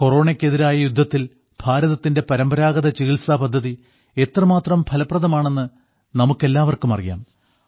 കൊറോണയ്ക്കെതിരായ യുദ്ധത്തിൽ ഭാരതത്തിന്റെ പരമ്പരാഗത ചികിത്സാ പദ്ധതി എത്രമാത്രം ഫലപ്രദമാണെന്ന് നമുക്കെല്ലാവർക്കും അറിയാം